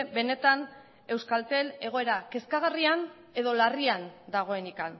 benetan euskaltel egoera kezkagarrian edo larrian dagoenik